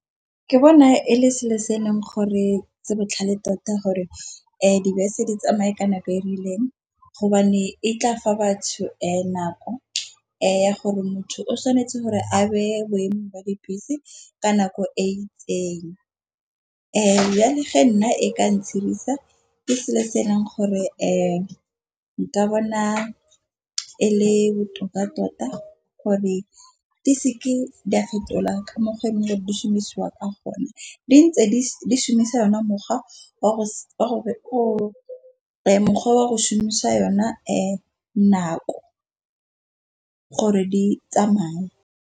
Ke bona e le selo se e leng gore se botlhale tota, gore dibese di tsamaye ka nako e rileng gobane e tla fa batho nako. Ya gore motho o tshwanetse gore a be boemo ba dibese ka nako e itseng, ya le ge nna e ka ke selo se e leng gore fa nka bona e le botoka tota gore di se ke di a fetola ka mokgwa wa šhumisiwa ka gonne. Di ntse di šhumisa ona mokgwa wa go o mokgwa wa go šhumisa yona e nako gore di tsamaye.